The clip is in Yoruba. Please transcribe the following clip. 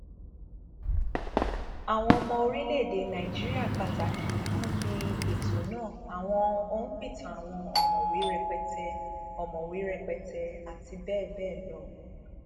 àwọn ọmọ orílẹèdè nàìjíríà pàtàkì kún bi ètò náà àwọn òǹpìtàn àwọn ọmọwé rẹpẹtẹ ọmọwé rẹpẹtẹ àti bẹẹ bẹẹ lọ